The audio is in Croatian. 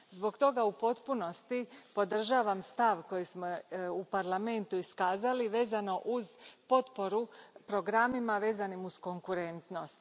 Zbog toga u potpunosti podržavam stav koji smo u Parlamentu iskazali, vezano uz potporu programima vezanima uz konkurentnost.